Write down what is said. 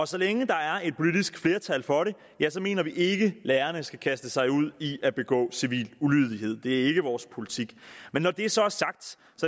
så længe der er et politisk flertal for det mener vi ikke at lærerne skal kaste sig ud i at begå civil ulydighed det er ikke vores politik men når det så er sagt